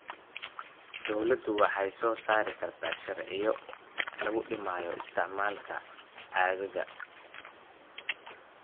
Dawladdu waxay soo saari kartaa sharciyo lagu dhimayo isticmaalka caagagga.